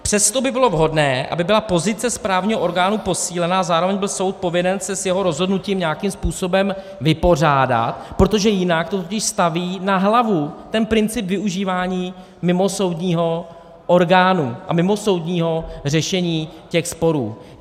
Přesto by bylo vhodné, aby byla pozice správního orgánu posílena a zároveň byl soud povinen se s jeho rozhodnutím nějakým způsobem vypořádat, protože jinak to totiž staví na hlavu ten princip využívání mimosoudního orgánu a mimosoudního řešení těch sporů.